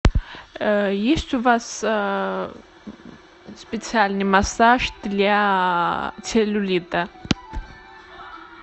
есть у вас специальный массаж для целлюлита